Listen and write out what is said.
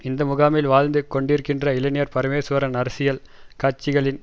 இந்த முகாமில் வாழ்ந்து கொண்டிருக்கின்ற இளைஞர் பரமேஸ்வரன் அரசியல் கட்சிகளின்